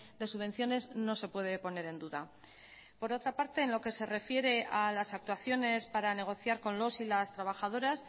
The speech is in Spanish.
de subvenciones no se puede poner en duda por otra parte en lo que se refiere a las actuaciones para negociar con los y las trabajadoras